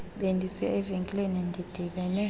bendisiya evenkileni ndidibene